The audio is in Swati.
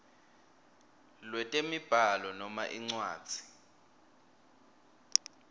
lwetemibhalo noma incwadzi